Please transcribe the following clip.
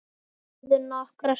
Þeir þögðu nokkra stund.